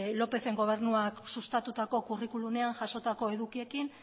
lópezen gobernuak sustatuko curriculumean jasotako edukiekin